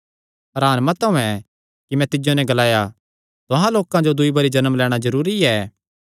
हरान मत होयैं कि मैं तिज्जो नैं ग्लाया तुहां लोकां जो दूई बरी जन्म लैणां जरूरी ऐ